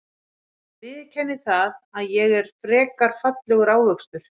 Ég viðurkenni það að ég er frekar fallegur ávxöxtur.